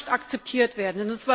Das kann nicht akzeptiert werden!